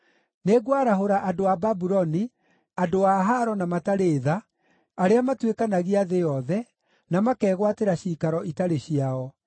Nĩngwarahũra andũ a Babuloni, andũ a haaro, na matarĩ tha, arĩa matuĩkanagia thĩ yothe, na makegwatĩra ciikaro itarĩ ciao.